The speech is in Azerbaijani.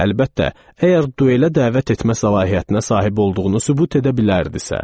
Əlbəttə, əgər duelə dəvət etmə səlahiyyətinə sahib olduğunu sübut edə bilərdisə.